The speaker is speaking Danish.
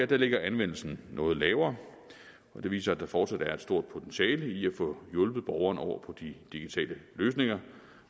ligger anvendelsen noget lavere og det viser at der fortsat er et stort potentiale i at få hjulpet borgerne over på de digitale løsninger